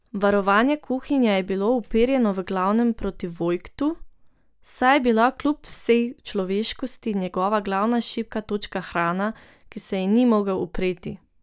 Varovanje kuhinje je bilo uperjeno v glavnem proti Vojtku, saj je bila kljub vsej človeškosti njegova glavna šibka točka hrana, ki se ji ni mogel upreti.